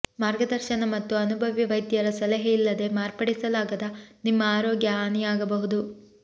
ಮಾರ್ಗದರ್ಶನ ಮತ್ತು ಅನುಭವಿ ವೈದ್ಯರ ಸಲಹೆ ಇಲ್ಲದೆ ಮಾರ್ಪಡಿಸಲಾಗದ ನಿಮ್ಮ ಆರೋಗ್ಯ ಹಾನಿಯಾಗಬಹುದು